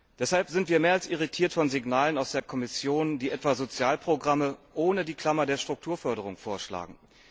Deshalb sind wir mehr als irritiert von Signalen aus der Kommission, die etwa Sozialprogramme ohne die Klammer der Strukturförderung vorschlagen.